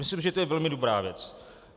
Myslím, že je to velmi dobrá věc.